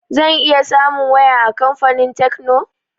Zan iya samun waya a kamfanin tekno?